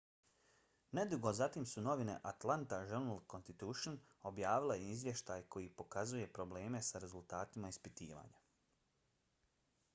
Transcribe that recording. nedugo zatim su novine atlanta journal-constitution objavile izvještaj koji pokazuje probleme sa rezultatima ispitivanja